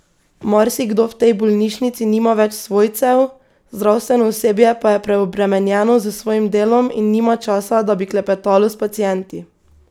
Marsikdo v tej bolnišnici nima več svojcev, zdravstveno osebje pa je preobremenjeno s svojim delom in nima časa, da bi klepetalo s pacienti.